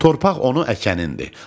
Torpaq onu əkənindir.